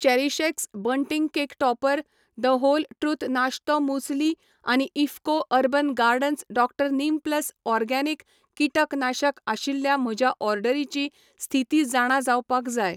CherishX bunting cake topper, the whole truth नाश्तो muesli आनी IFFCO urban gardens Dr neem plus organic कीटकनाशक आशिल्ल्या म्हज्या ऑर्डरीची स्थिती जाणा जावपाक जाय